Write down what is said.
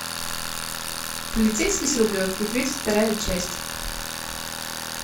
полицейский с рублевки тридцать вторая часть